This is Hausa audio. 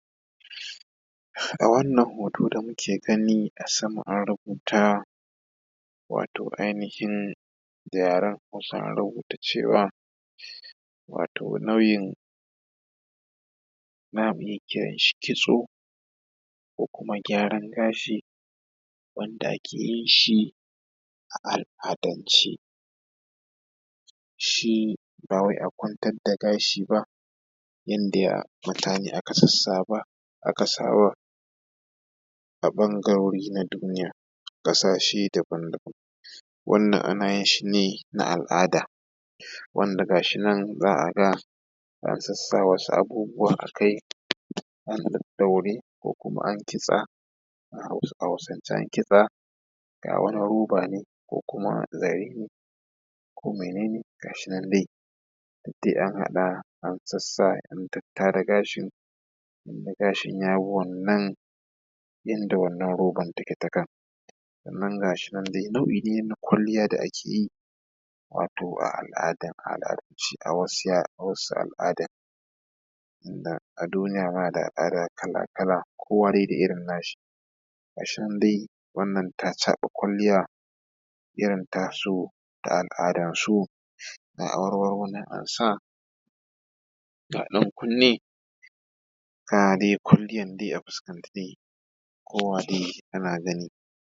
A wannan hoto da muke gani a sama an rubuta wato ainihin da yaren hausa an rubuta cewa wato nau’in, za mu iya kiran shi kitso ko kuma gyaran gashi wanda ake yin shi a al’adan ce. Shi ba wai a kwantar da gashi ba yanda mutane aka sassaba aka saba a ɓangarori na duniya, ƙasashe daban daban wannan ana yin shi ne na al’ada wanda ga shi nan za a ga an sassa wasu abubuwa a kai an ɗaɗɗaure ko kuma an kitsa a hausance an kitsa, ga wani roba ne ko kuma zare ne ko mene ne ga shi nan dai duk dai an harhaɗa an sassa an tattara gashin tunda gashin ya bi wannan in da wannan roban take ta kan. Sannan ga shi nan dai, nau’i dai na kwalliya da ake yi wato a al’ada a wasu al’adan, tinda a duniya ma da al'ada kala kala, kowa dai da irin na shi. gashi nan dai wannan ta caɓa kwalliya irin ta su da al’adan su ga awarwaro nan ansa ga ɗan kunni ga dai kwalliyan dai a fuskan ta dai kowa dai yana gani.